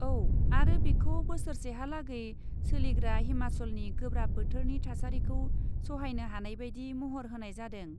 औ आरो बेखौ बोसोरसेहालागै सोलिग्रा हिमाचलनि गोब्राब बोथोरनि थासारिखौ सहायनो हानायबायदि महर होनाय जादों।